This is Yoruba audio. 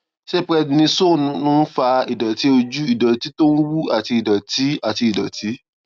ṣé prednisone ń fa ìdòtí ojú ìdòtí tó ń wú àti ìdòtí àti ìdòtí